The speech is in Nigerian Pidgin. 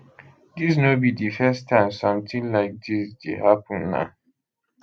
dis no be di first time sometin like dis dey happen na